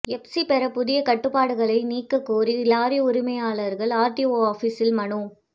FC பெற புதிய கட்டுப்பாடுகளை நீக்கக் கோரி லாரி உரிமையாளர்கள் ஆர்டிஓ ஆபிசில் மனு